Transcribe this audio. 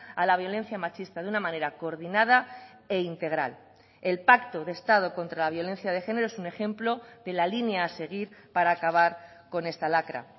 a la violencia machista de una manera coordinada e integral el pacto de estado contra la violencia de género es un ejemplo de la línea a seguir para acabar con esta lacra